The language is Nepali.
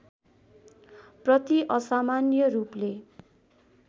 प्रति असामान्य रूपले